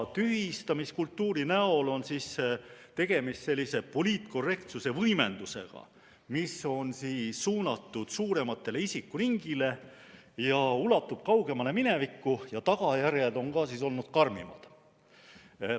Tühistamiskultuuri näol on tegemist sellise poliitkorrektsuse võimendusega, mis on suunatud suuremale isikute ringile, ulatub kaugemale minevikku ja tagajärjed on ka siis olnud karmimad.